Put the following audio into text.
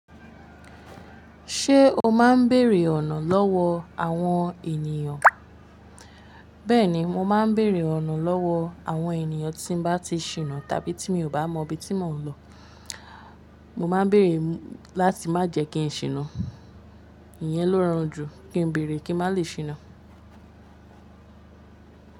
Ṣé o máa ń béèrè ọ̀nà lọ́wọ́ àwọn ènìyàn? Bẹ́ẹ̀ni, mo máa ń béèrè ọ̀nà lọ́wọ́ àwọn ènìyàn tí n bá ti ṣinà tàbí tí mi ò bá mọ ibi tí mò ń lọ. Mo máa ń béèrè láti má jẹ kí n ṣinà. Ìyẹn ló rọrùn jù, kí n béèrè kí n má lè ṣinà.